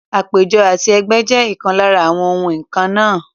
Àpéjọ àti ẹgbẹ́ jẹ́ ìkan lára àwa nǹkan náà.